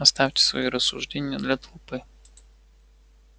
оставьте свои рассуждения для толпы